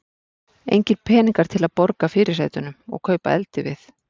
Engir peningar til að borga fyrirsætunum og kaupa eldivið.